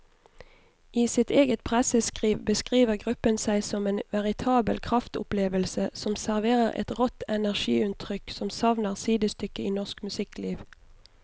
I sitt eget presseskriv beskriver gruppen seg som en veritabel kraftopplevelse som serverer et rått energiutrykk som savner sidestykke i norsk musikkliv.